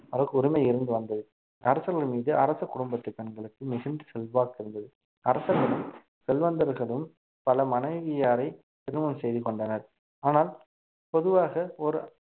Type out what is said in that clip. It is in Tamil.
அதற்கு உரிமை இருந்து வந்தது அரசர்கள் மீது அரச குடும்பத்து பெண்களுக்கு மிகுந்த செல்வாக்கு இருந்தது அரசர்களும் செல்வந்தர்களும் பல மனைவியாரை திருமணம் செய்து கொண்டனர் ஆனால் பொதுவாக ஒரு